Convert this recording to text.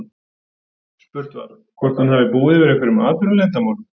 Spurt var, hvort hann hafi búið yfir einhverjum atvinnuleyndarmálum?